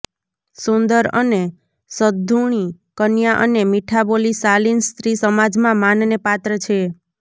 સુંદર અને સદ્ગુણી કન્યા અને મીઠાબોલી શાલીન સ્ત્રી સમાજમાં માનને પાત્ર છે